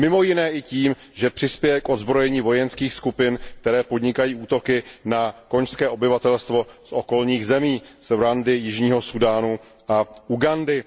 Mimo jiné i tím, že přispěje k odzbrojení vojenských skupin, které podnikají útoky na konžské obyvatelstvo z okolních zemí, z Rwandy, jižního Súdánu a Ugandy.